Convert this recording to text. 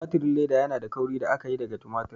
Tumatir leda yanada kauri da aka yi daga tumatir.